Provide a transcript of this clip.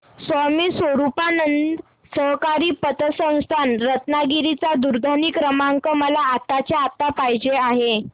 स्वामी स्वरूपानंद सहकारी पतसंस्था रत्नागिरी चा दूरध्वनी क्रमांक मला आत्ताच्या आता पाहिजे आहे